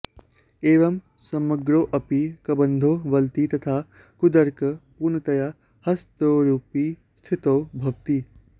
एवं समग्रोऽपि कबन्धो वलति तथा कूर्दकः पूर्णतया हस्तयोरुपरि स्थितो भवति